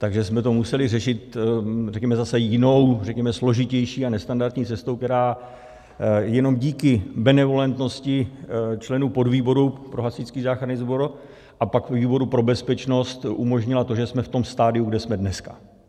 Takže jsme to museli řešit, řekněme, zase jinou, řekněme složitější a nestandardní cestou, která jenom díky benevolentnosti členů podvýboru pro Hasičský záchranný sbor a pak výboru pro bezpečnost umožnila to, že jsme v tom stadiu, kde jsme dneska.